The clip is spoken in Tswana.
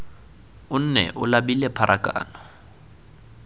o nne o labile pharakano